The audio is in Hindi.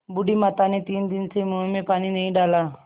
बूढ़ी माता ने तीन दिन से मुँह में पानी नहीं डाला